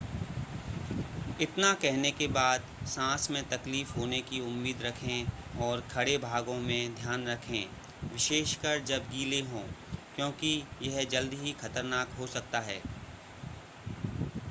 इतना कहने के बाद सांस में तकलीफ होने की उम्मीद रखें और खड़े भागों में ध्यान रखें विशेषकर जब गीले हों क्योंकि यह जल्दी ही खतरनाक हो सकता है